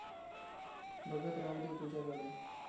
बघत राहू दे तुझ्याकडे